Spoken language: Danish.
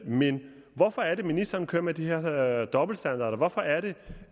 men hvorfor er det at ministeren kører med de her dobbeltstandarder hvorfor er det